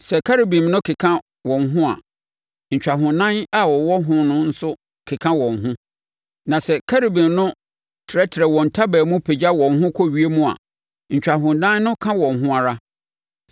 Sɛ Kerubim no keka wɔn ho a, ntwahonan a ɛwowɔ wɔn ho no nso keka wɔn ho; na sɛ Kerubim no trɛtrɛ wɔn ntaban mu pagya wɔn ho kɔ ewiem a, ntwahonan no ka wɔn ho ara.